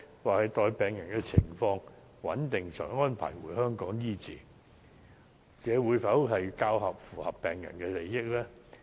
或是待病人的情況穩定後，才安排送回香港醫治，較符合病人的利益呢？